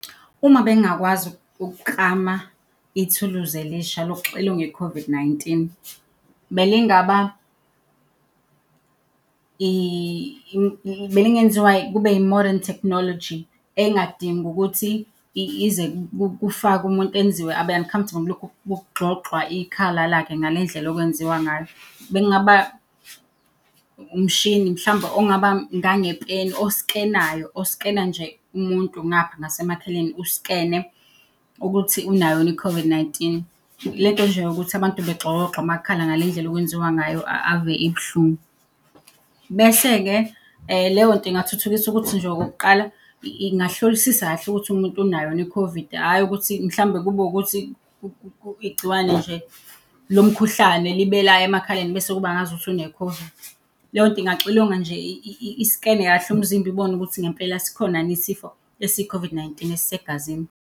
Uma bengingakwazi ukuklama ithuluzi elisha lokuxilonga i-COVID-19 belingenziwa kube i-modern technology engadingi ukuthi ize kufakwe umuntu enziwe abe uncomfortable kulokhu kugxogxwa ikhala lakhe ngale ndlela okwenziwa ngayo. Bekungaba umshini mhlawumbe ongaba ngangepeni oskenayo, oskena nje umuntu, ngapha nasemakhaleni uskene ukuthi unayo yini i-COVID-19. Le nto nje yokuthi abantu begxokogxwe amakhala ngale ndlela okwenziwa ngayo ave ibuhlungu. Bese-ke, leyo nto ingathuthukisa ukuthi nje okokuqala ingahlolisisa kahle ukuthi umuntu unayo yini i-COVID, hhayi ukuthi mhlawumbe kube ukuthi igciwane nje lomkhuhlane libe la emakhaleni bese kuba ngazi ukuthi une-COVID. Leyo nto ingaxilonga nje, iskene kahle umzimba ibone ukuthi ngempela sikhona yini isifo esiyi-COVID-19 esisegazini.